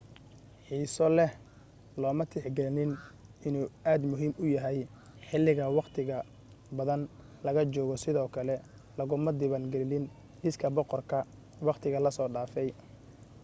xiiso leh looma tix gelin inuu aad muhiim u yahay xiliga waqtiqa badan laga joogo sidoo kale laguma diwaan gelin liiska boqorka waqtiga la soo dhafay